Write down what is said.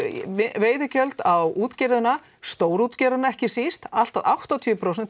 veiðigjöld á útgerðina stórútgerðina ekki síst allt að áttatíu prósent